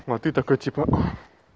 а ты такой типа